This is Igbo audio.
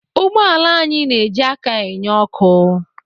Ụgbọala anyị na-eji aka enye ọ́kụ́.